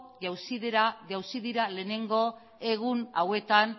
jauzi dira lehenengo egun hauetan